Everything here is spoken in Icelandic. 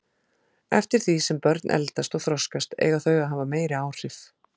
Eftir því sem börn eldast og þroskast eiga þau að hafa meiri áhrif.